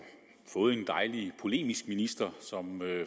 fået en dejligt polemisk minister som